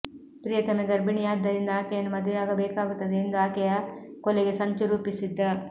ಪ್ರಿಯತೆಮ ಗರ್ಭಿಣಿಯಾದ್ದರಿಂದ ಆಕೆಯನ್ನು ಮದುವೆಯಾಗಬೇಕಾಗುತ್ತದೆ ಎಂದು ಆಕೆಯ ಕೊಲೆಗೆ ಸಂಚು ರೂಪಿಸಿದ್ದ